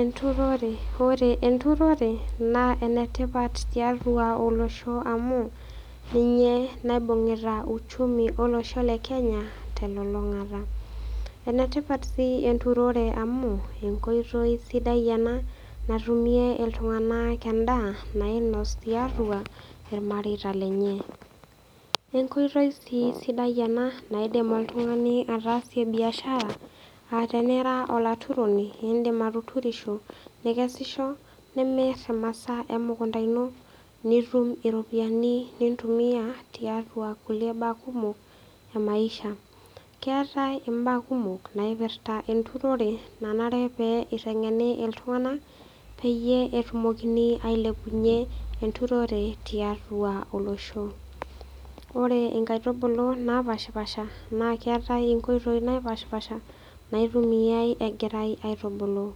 Enturore. Ore enturore naa enetipat tiatua olosho amu ninye naibung'ita uchumi olosho le Kenya telulung'ata. Enetipat sii enturore amu enkoitoi sidai ena natumie iltung'anak endaa nainos tiatua ilmareita lenye. Enkoitoi sii sidai ena naidim oltung'ani ataasie  biashara [aa] tenera olaturoni iindim atuturisho, nikesisho, nimirr imasaa emukunta ino nitum iropiani nintumia tiatua kulie baa kumok e maisha. Keetai imbaa kumok naipirta enturore nanare pee eiteng'eni iltung'anak peyie etumokini ailepunye enturore tiatua olosho. Ore inkaitubulu napashpaasha naaketai inkoitoi napashpaasha naitumiai egirai aitubulu.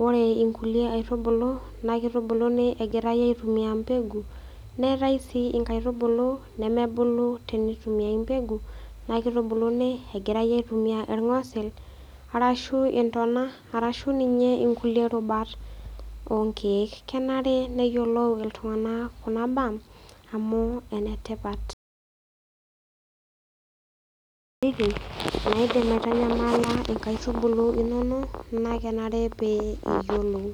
Ore inkulie aitubulu nakeitubuluni egirai aitumia  mbegu. Neetai sii inkaitubulu nemebulu teneitumiai mbegu nakeitubuluni egirai aitumia ilng'osil arashu intona arashu ninye inkulie rubat oonkeek. Kenare neyiolou iltung'anak kuna baa amu enetipat. naidim aitanyamala inkaitubulu inono naakenare pee iyiolou.